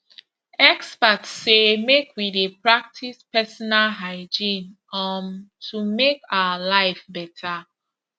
experts say make we dey practice personal hygiene um to make our life better